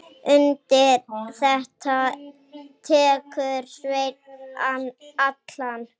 Undir þetta tekur Sveinn Allan.